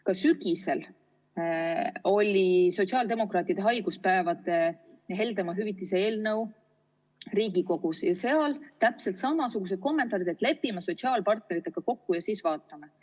Ka sügisel oli sotsiaaldemokraatide haiguspäevade ja heldema hüvitise eelnõu Riigikogus ning siis olid täpselt samasugused kommentaarid, et lepime sotsiaalpartneritega kokku ja siis vaatame.